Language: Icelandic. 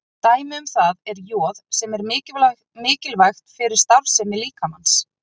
Dæmi um það er joð sem er mikilvægt fyrir starfsemi líkamans.